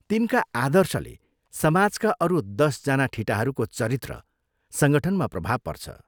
तिनका आदर्शले समाजका अरू दश जना ठिटाहरूको चरित्र संगठनमा प्रभाव पर्छ।